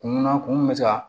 Kunna kun bɛ ka